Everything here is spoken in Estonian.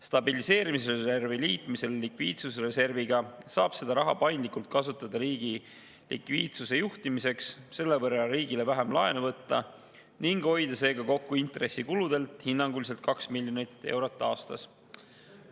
Stabiliseerimisreservi liitmisel likviidsusreserviga saab seda raha paindlikult kasutada riigi likviidsuse juhtimiseks, selle võrra riigile vähem laenu võtta ning hoida intressikuludelt kokku hinnanguliselt 2 miljonit eurot aastas.